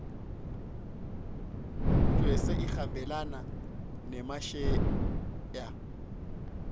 ijse ihambelana nemasheya